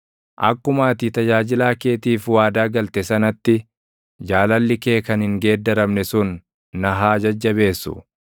Akkuma ati tajaajilaa keetiif waadaa galte sanatti, jaalalli kee kan hin geeddaramne sun na haa jajjabeessu.